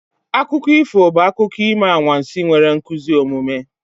Akụkọ ifo bụ akụkọ ime anwansi nwere nkuzi omume.